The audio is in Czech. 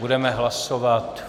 Budeme hlasovat.